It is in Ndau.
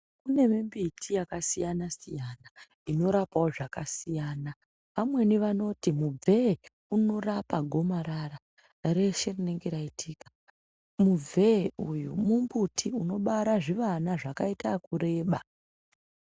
Kuneve mbiti yakasiyana siyana inorapawo zvakasiyana vamweni vanoti mubvee unorapa gomarara reshe rinenge raitika, mubvee uyu mumbuti unobara zvivana zvakaita ekureba.